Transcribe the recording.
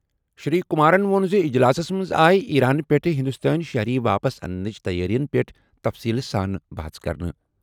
شری کمارَن ووٚن زِ اجلاسَس منٛز آیہِ ایران پٮ۪ٹھ ہندوستٲنۍ شہری واپس اننٕچ تَیٲرِین پٮ۪ٹھ تفصیٖل سان بَحَژ کرنہٕ۔